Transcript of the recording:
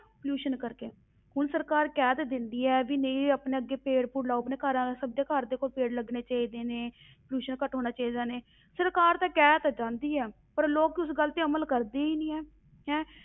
Pollution ਕਰਕੇ, ਹੁਣ ਸਰਕਾਰ ਕਹਿ ਤੇ ਦਿੰਦੀ ਹੈ ਵੀ ਨਹੀਂ ਆਪਣੇ ਅੱਗੇ ਪੇੜ ਪੂੜ ਲਗਾਓ, ਆਪਣੇ ਘਰ ਸਭ ਦੇ ਘਰ ਦੇਖੋ ਪੇੜ ਲੱਗਣੇ ਚਾਹੀਦੇ ਨੇ pollution ਘੱਟ ਹੋਣਾ ਚਾਹੀਦਾ ਨੇ, ਸਰਕਾਰ ਤਾਂ ਕਹਿ ਤਾਂ ਜਾਂਦੀ ਹੈ, ਪਰ ਲੋਕ ਉਸ ਗੱਲ ਤੇ ਅਮਲ ਕਰਦੇ ਹੀ ਨਹੀਂ, ਹੈਂ